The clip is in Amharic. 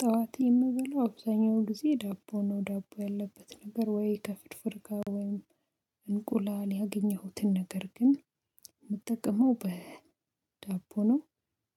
ጠዋት የምበለው አብዛኛው ጊዜ ዳቦ ነው ዳቦ ያለበት ነገር ወይ ከፍርፍር ጋር ወይም እንቁላል ያገኘሁትን ነገር ግን የምጠቀመው በዳቦ ነው።